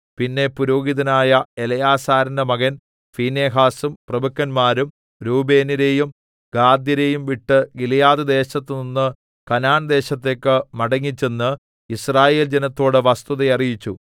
പിന്നെ പുരോഹിതനായ എലെയാസാരിന്റെ മകൻ ഫീനെഹാസും പ്രഭുക്കന്മാരും രൂബേന്യരെയും ഗാദ്യരെയും വിട്ട് ഗിലെയാദ്‌ദേശത്തു നിന്ന് കനാൻദേശത്തേക്ക് മടങ്ങിച്ചെന്ന് യിസ്രായേൽ ജനത്തോട് വസ്തുത അറിയിച്ചു